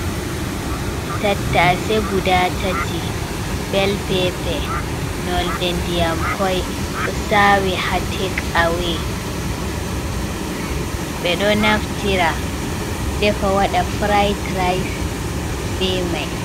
Tatta'ase guɗa tati. Bel pepe norɗer nɗjyam koi. Sawi ha tek-awe. be ɗon naftira defe waɗa pura'ɗ raas be mai.